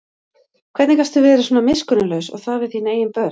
Hvernig gastu verið svona miskunnarlaus og það við þín eigin börn?